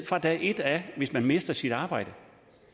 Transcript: fra dag et hvis man mister sit arbejde